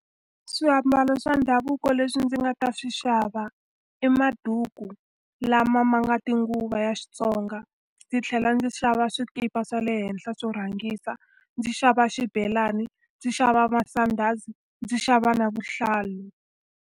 Swiambalo swa ndhavuko leswi ndzi nga ta swi xava i maduku lama ma nga tinguva ya Xitsonga, ndzi tlhela ndzi xava swikipa swa le henhla swo rhangisa, ndzi xava xibelani, ndzi xava masandhazi, ndzi xava na vuhlalu.